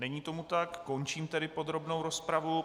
Není tomu tak, končím tedy podrobnou rozpravu.